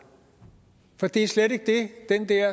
for det er slet ikke det den